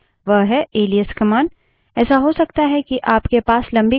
आखिरी लेकिन काफी महत्वपूर्ण command जो हम देखेंगे वह है एलाइस command